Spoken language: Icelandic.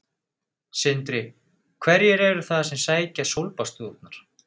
Sindri: Hverjir eru það sem sækja sólbaðsstofurnar?